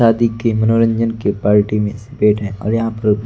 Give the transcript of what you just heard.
शादी के मनोरंजन के पार्टी में बैठे हैं और यहां पर--